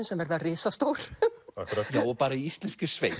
sem verða risastór bara í íslenskri sveit